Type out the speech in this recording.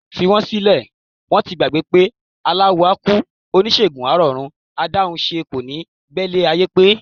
Fi wọ́n sílẹ̀, wọ́n ti gbàgbé pé aláwo á kú, oníṣègùn á rọ̀run, adáhunṣe kò ní gbélé ayé gbé.